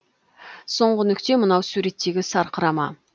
соңғы нүкте мынау суреттегі сарқырама